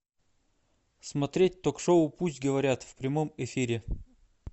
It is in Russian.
смотреть ток шоу пусть говорят в прямом эфире